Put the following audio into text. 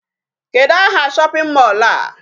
Kedụ aha shopping mall a?